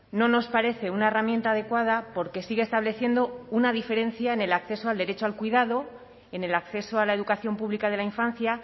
no nos parece una herramienta adecuada porque sigue estableciendo una diferencia en el acceso al derecho al cuidado en el acceso a la educación pública de la infancia